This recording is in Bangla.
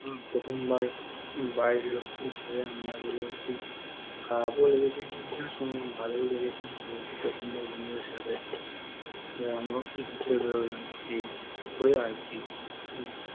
প্রথমবার বাড়ির লোকজন ছেড়ে আমরা বেরিয়েছি খারাপ ও লেগেছে আবার ভালো ও লেগেছে যেহেতু প্রথমবার বন্ধুদের সাথে ঘুরতে বেরোলাম, এই আরও কি